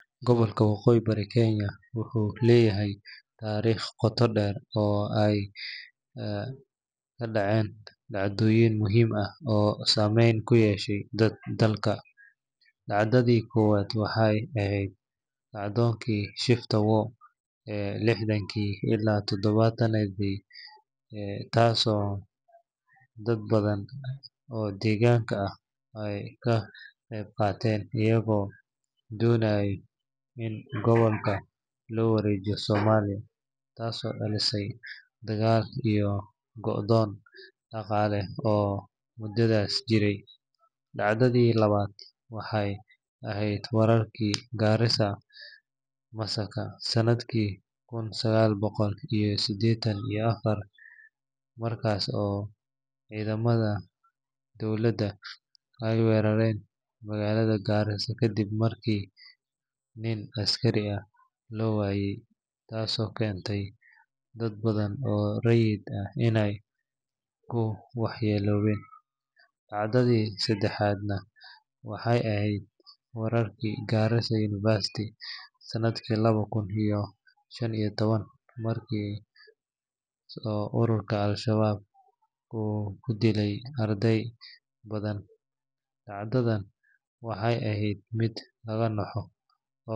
Gobolka waqooyi bari Kenya wuxuu leeyahay taariikh qoto dheer oo ay ka dhaceen dhacdooyin muhiim ah oo saameyn ku yeeshay dalka. Dhacdadii koowaad waxay ahayd kacdoonkii Shifta War ee lixdankii ilaa todobaatanadii, taasoo dad badan oo deegaanka ah ay ka qayb qaateen iyagoo doonayay in gobolka loo wareejiyo Soomaaliya, taasoo dhalisay dagaal iyo go’doon dhaqaale oo muddadaas jiray. Dhacdadii labaad waxay ahayd weerarkii Garissa Massacre sanadkii kun sagaal boqol iyo siddeetan iyo afar, markaas oo ciidamada dowladda ay weerareen magaalada Garissa kadib markii nin askari ah la waayay, taasoo keentay dad badan oo rayid ah inay ku waxyeeloobeen. Dhacdadii saddexaadna waxay ahayd weerarkii Garissa University sanadkii laba kun iyo shan iyo toban, markaas oo ururka Al-Shabaab uu ku dilay arday badan, dhacdadan waxay ahayd mid laga naxo.